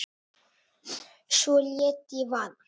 Svo lét ég vaða.